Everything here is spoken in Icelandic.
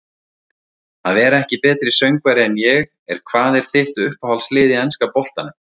Að vera ekki betri söngvari en ég er Hvað er þitt uppáhaldslið í enska boltanum?